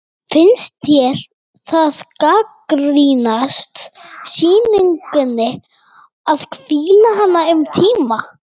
Finnst þér það gagnast sýningunni að hvíla hana um tíma?